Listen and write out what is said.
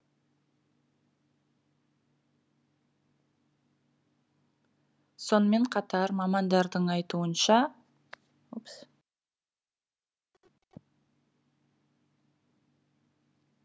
сонымен қатар мамандардың айтуынша